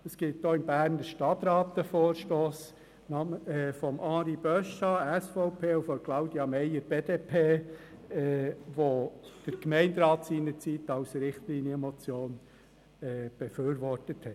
Es gibt auch im Berner Stadtrat einen Vorstoss von Henri-Charles Beuchat, SVP, und Claudia Meier, BDP, die der Gemeinderat seinerzeit als Richtlinienmotion befürwortet hat.